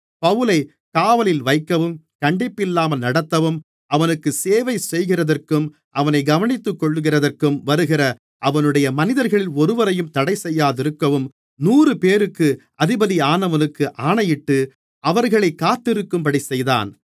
பவுலைக் காவலில் வைக்கவும் கண்டிப்பில்லாமல் நடத்தவும் அவனுக்கு சேவைசெய்கிறதற்கும் அவனைக் கவனித்துக்கொள்ளுகிறதற்கும் வருகிற அவனுடைய மனிதர்களில் ஒருவரையும் தடைசெய்யாதிருக்கவும் நூறுபேருக்கு அதிபதியானவனுக்கு ஆணையிட்டு அவர்களைக் காத்திருக்கும்படி செய்தான்